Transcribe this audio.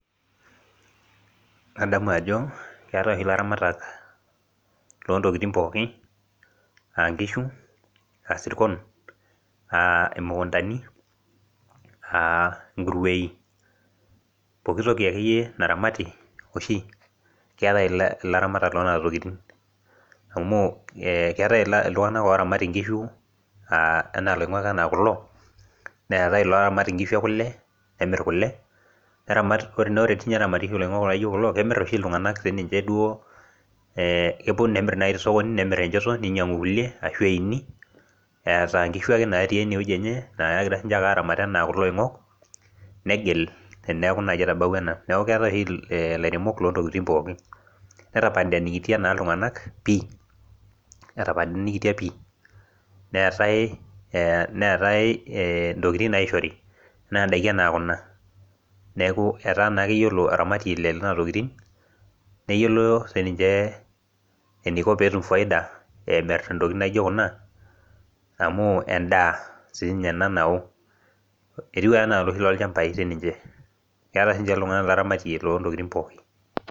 Adamu ajo keetae oshi ilaramatak lontokiting pooki ankishu asirkon uh imukuntani uh inkuruei uh pokitoki akeyie naramati oshi keetae ilaramatak lonana tokiting amu eh keetae iltung'anak oramat inkishu uh enaa iloing'ok enaa kulo neetae iloramat inkishu e kule nemirr kule neramat nore tinye eramati oshi iloing'ok laijo kulo kemirr oshi iltung'anak sininche duo eh epuo nemirr naaji tesokoni nemirr enchoto ninyiang'u kulie ashu eini eeta inkishu ake natii enewueji enye nakira sininche aramat enaa kulo oing'ok negil teniaku naaji etabawua ena naku keetae oshi eh ilairemok lontokiting pookin netapanikitia naa iltung'anak pii etapanikitia pii neetae eh neetae intokiting naishori enaa indaiki enaa kuna neku etaa naake iyiolo aramatie le nena tokiting neyiolo sininche eniko peetum faida emirr intokiting naijo kuna amu endaa siinye ena nawo etiu ake enaa iloshi lolchambai sininche keeta sinche iltung'anak oramatie lontokiting pooki.